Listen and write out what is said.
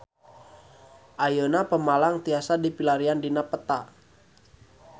Ayeuna Pemalang tiasa dipilarian dina peta